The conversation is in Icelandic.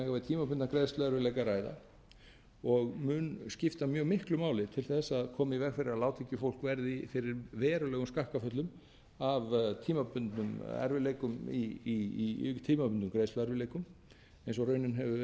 tímabundna greiðsluerfiðleika að ræða og mun skipta mjög miklu máli til þess að koma í veg fyrir að lágtekjufólk verði fyrir verulegum skakkaföllum af tímabundnum greiðsluerfiðleikum eins og raunin hefur verið áratugum